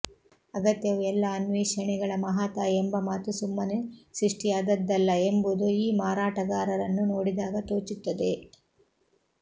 ಅಗತ್ಯವು ಎಲ್ಲ ಅನ್ವೇಷಣೆಗಳ ಮಹಾತಾಯಿ ಎಂಬ ಮಾತು ಸುಮ್ಮನೆ ಸೃಷ್ಟಿಯಾದದ್ದಲ್ಲ ಎಂಬುದು ಈ ಮಾರಾಟಗಾರರನ್ನು ನೋಡಿದಾಗ ತೋಚುತ್ತದೆ